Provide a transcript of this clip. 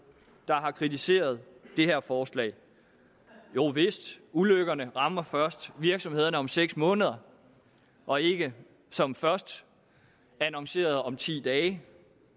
der har kritiseret det her forslag jovist ulykkerne rammer først virksomhederne om seks måneder og ikke som først annonceret om ti dage